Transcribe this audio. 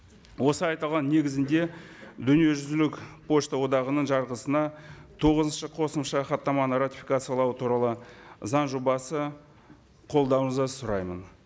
осы айтылған негізінде дүниежүзілік пошта одағының жарғысына тоғызыншы қосымша хаттаманы ратификациялау туралы заң жобасы қолдауыңызды сұраймын